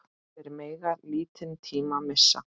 Þeir mega lítinn tíma missa.